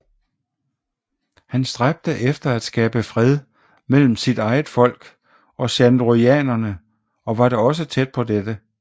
Han stræbte efter at skabe fred mellem sit eget folk og Shandorianerne og var da også tæt på dette